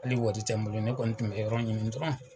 Hali wari tɛ n bolo ne kɔni tun bɛ yɔrɔ ɲini dɔrɔn.